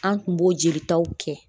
An kun b'o jelitaw kɛ